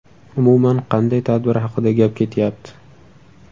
Umuman qanday tadbir haqida gap ketyapti?